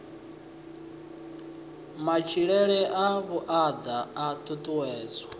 matshilele a vhuaḓa a ṱuṱuwedzwa